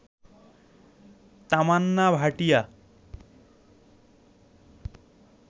Tamannaah Bhatia